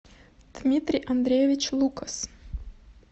дмитрий андреевич лукас